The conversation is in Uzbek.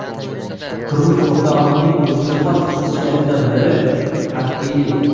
Turmush o‘rtog‘imning o‘ziga xos xususiyatidan biri – qat’iylik!